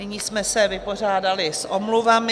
Nyní jsme se vypořádali s omluvami.